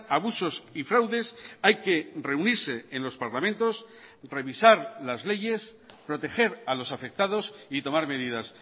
abusos y fraudes hay que reunirse en los parlamentos revisar las leyes proteger a los afectados y tomar medidas